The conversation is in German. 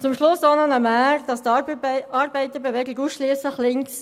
Zum Schluss noch zur Mär, die Arbeiterbewegung sei ausschliesslich links: